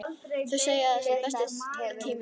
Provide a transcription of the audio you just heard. Þau segja að það sé besti tími ársins.